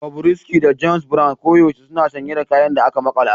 Bobrisky da James Brown koyaushe suna sanye da abin da aka makala